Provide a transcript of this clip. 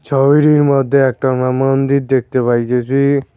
ছবিটির মধ্যে একটা আমরা মন্দির দেখতে পাইতেসি।